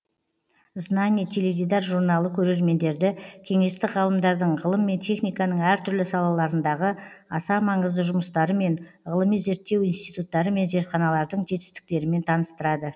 знание теледидар журналы көрермендерді кеңестік ғалымдардың ғылым мен техниканың әртүрлі салаларындағы аса маңызды жұмыстарымен ғылыми зерттеу институттары мен зертханалардың жетістіктерімен таныстырады